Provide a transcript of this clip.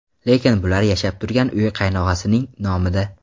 Lekin bular yashab turgan uy qaynog‘asining nomida.